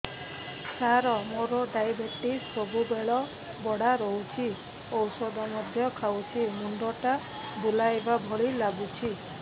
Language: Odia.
ସାର ମୋର ଡାଏବେଟିସ ସବୁବେଳ ବଢ଼ା ରହୁଛି ଔଷଧ ମଧ୍ୟ ଖାଉଛି ମୁଣ୍ଡ ଟା ବୁଲାଇବା ଭଳି ଲାଗୁଛି